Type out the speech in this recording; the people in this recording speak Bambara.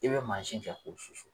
I bɛ mansin kɛ k'o susu